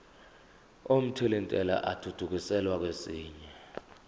omthelintela athuthukiselwa kwesinye